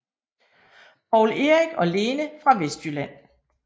Poul Erik og Lene fra Vestjylland